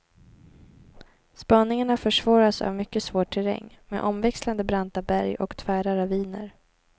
Spaningarna försvåras av mycket svår terräng med omväxlande branta berg och tvära raviner.